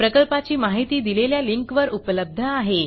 प्रकल्पाची माहिती दिलेल्या लिंकवर उपलब्ध आहे